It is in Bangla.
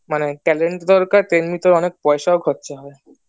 মানে talent দরকার তেমনিতে পয়সাও খরচা হয়